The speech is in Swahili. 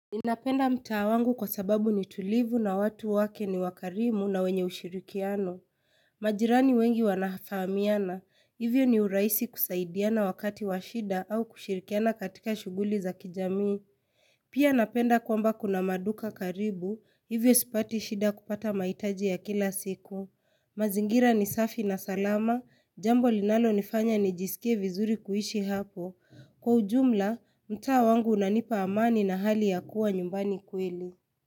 Ninapenda mtaa wangu kwa sababu ni tulivu na watu wake ni wakarimu na wenye ushirikiano. Majirani wengi wanafahamiana, hivyo ni urahisi kusaidiana wakati wa shida au kushirikiana katika shughuli za kijamii. Pia napenda kwamba kuna maduka karibu, hivyo sipati shida kupata mahitaji ya kila siku. Mazingira ni safi na salama, jambo linalonifanya nijisikie vizuri kuishi hapo. Kwa ujumla, mtaa wangu unanipa amani na hali ya kuwa nyumbani kweli.